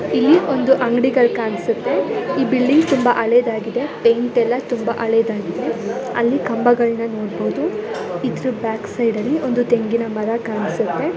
ಇಲ್ಲಿ ಒಂದು ಅಂಗಡಿಗಳು ಕಾಣಿಸುತ್ತೆ ಈ ಬಿಲ್ಡಿಂಗ್ ತುಂಬಾ ಹಳೆಯದಾಗಿದೇ ಪೆಂಟ ಎಲ್ಲ ತುಂಬಾ ಹಳೆಯದಾಗಿದೇ ಅಲ್ಲಿ ಕಂಭಗಳನ್ನ ನೋಡಬಹುದು ಇದರ ಬ್ಯಾಕ್ ಸೈಡ್ ಅಲ್ಲಿ ಒಂದು ತೆಂಗಿನ ಮರ ಕಾಣಿಸುತ್ತೆ .